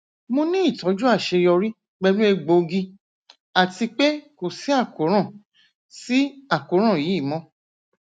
mo ni itọju aṣeyọri pẹlu egboogi ati pe ko si àkóràn si àkóràn yii mọ